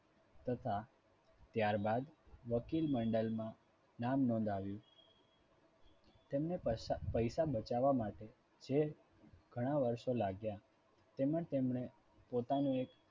તથા ત્યારબાદ વકીલ મંડળમાં નામ નોંધાવ્યું. તેમને પૈસા પૈસા બચાવવા માટે જે ઘણા વર્ષો લાગ્યા તેમાં તેમને પોતાનું એક